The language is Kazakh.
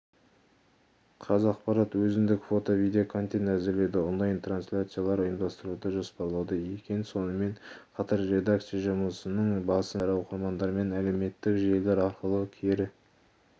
қазақпарат өзіндік фото-видеоконтент әзірлеуді онлайн трансляциялар ұйымдастыруды жоспарлауда екен сонымен қатар редакция жұмысының басым бағыттары оқырмандармен әлеуметтік желілер арқылы кері